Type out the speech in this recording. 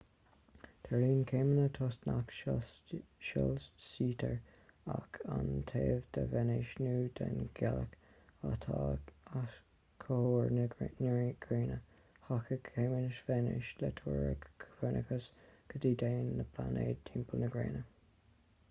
tarlaíonn céimeanna toisc nach soilsítear ach an taobh de véineas nó den ghealach atá os comhair na gréine. thacaigh céimeanna véineas le teoiric copernicus go dtéann na pláinéid timpeall na gréine